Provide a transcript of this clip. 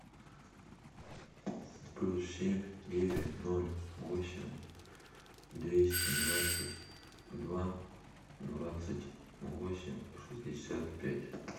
плюс семь девять ноль восемь двести двадцать два двадцать восемь шестьдесят пять